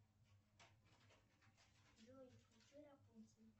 джой включи рапунцель